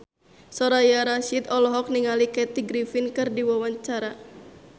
Soraya Rasyid olohok ningali Kathy Griffin keur diwawancara